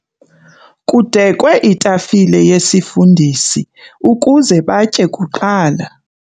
Kudekwe itafile yesifundisi ukuze batye kuqala.